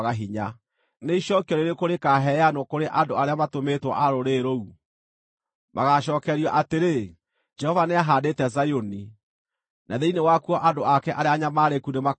Nĩ icookio rĩrĩkũ rĩkaaheanwo kũrĩ andũ arĩa matũmĩtwo a rũrĩrĩ rũu? Magaacookerio atĩrĩ, “Jehova nĩahaandĩte Zayuni, na thĩinĩ wakuo andũ ake arĩa anyamaarĩku nĩmakona rĩũrĩro.”